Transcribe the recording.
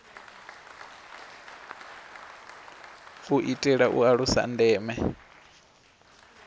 u itela u alusa ndeme